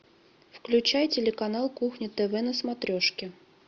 включай телеканал кухня тв на смотрешке